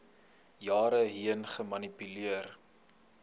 jare heen gemanipuleer